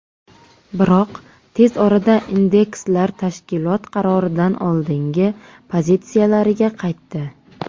Biroq tez orada indekslar tashkilot qaroridan oldingi pozitsiyalariga qaytdi.